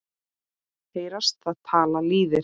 Heyrast það tala lýðir.